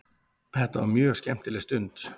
Þetta var mjög skemmtileg stund.